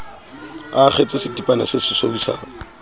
a akgetse setipana sesesweu sa